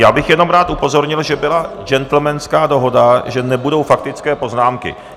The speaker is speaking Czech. Já bych jenom rád upozornil, že byla gentlemanská dohoda, že nebudou faktické poznámky.